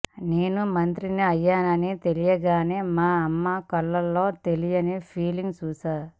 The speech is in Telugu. నేను మంత్రిని అయ్యా నని తెలియగానే మా అమ్మ కళ్లల్లో తెలీని ఫీలింగ్ చూశాను